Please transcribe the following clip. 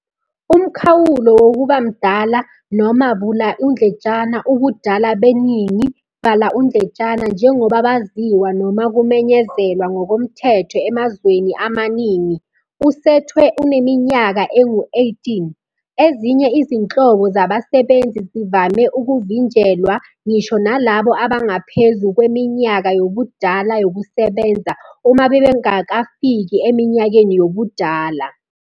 Umkhawulo wokuba mdala, noma " ubudala beningi " njengoba baziwa noma kumenyezelwa ngokomthetho emazweni amaningi, usethwe uneminyaka engu-18. Ezinye izinhlobo zabasebenzi zivame ukuvinjelwa ngisho nalabo abangaphezu kweminyaka yobudala yokusebenza, uma bengakafiki eminyakeni yobudala.